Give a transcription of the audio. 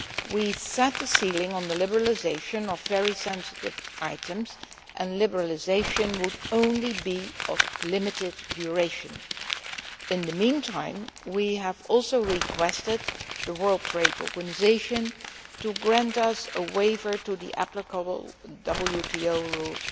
We have set a ceiling on the liberalisation of very sensitive items, and liberalisation would only be of limited duration. In the meantime, we have also requested the World Trade Organisation to grant us a waiver of the applicable WTO rules